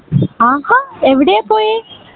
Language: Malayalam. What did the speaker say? ആഹാ എവിടെയാ പോയെ